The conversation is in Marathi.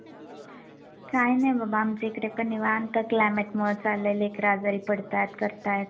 काय नाय बाबा आमच्या इकडे पण निवांत क्लायमेट मुळे चाललंय लेकर आजारी पडतात करतात.